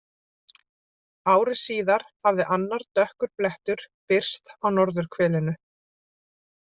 Ári síðar hafði annar dökkur blettur birst á norðurhvelinu.